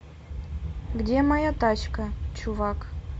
где моя тачка чувак